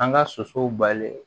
An ka sosow balen